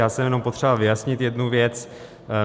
Já jsem jenom potřeboval vyjasnit jednu věc.